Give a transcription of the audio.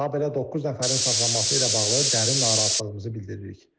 habelə doqquz nəfərin saxlanılması ilə bağlı dərin narahatlığımızı bildiririk.